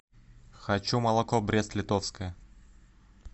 хочу молоко брест литовское